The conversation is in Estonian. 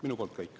Minu poolt kõik.